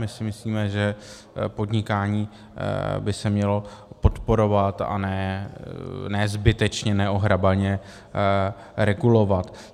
My si myslíme, že podnikání by se mělo podporovat, a ne zbytečně neohrabaně regulovat.